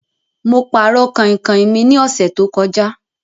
Mo pàrọ̀ kàinkàin mi ní ọ̀sẹ̀ to kọjá